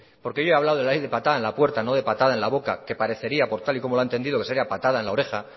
porque yo he hablado de la ley de patada en la puerta no de patada en la boca que parecería por tal y como lo ha entendido que sería ley patada en la oreja